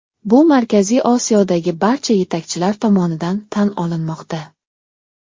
Bu Markaziy Osiyodagi barcha yetakchilar tomonidan tan olinmoqda.